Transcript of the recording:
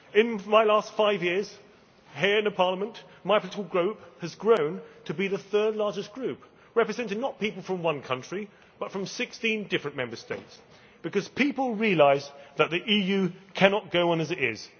In my last five years here in Parliament, my political group has grown to be the third largest group representing not people from one country, but from 16 different Member States because people realise that the EU cannot go on as it is.